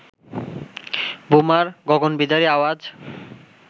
বোমার গগনবিদারী আওয়াজ